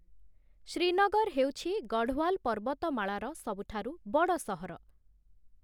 ଶ୍ରୀନଗର ହେଉଛି, ଗଢ଼ୱାଲ ପର୍ବତମାଳାର ସବୁଠାରୁ ବଡ଼ ସହର ।